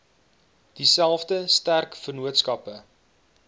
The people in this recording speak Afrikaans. dieselfde sterk vennootskappe